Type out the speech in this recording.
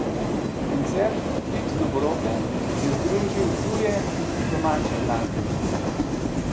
Koncert Klic dobrote je združil tuje in domače glasbenike.